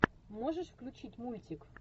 можешь включить мультик